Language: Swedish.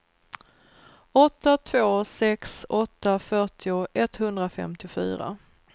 åtta två sex åtta fyrtio etthundrafemtiofyra